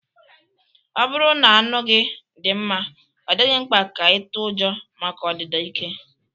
Ọ bụrụ na anụ gị dị mma, ọ dịghị mkpa ka ị tụọ ụjọ maka ọdịda ike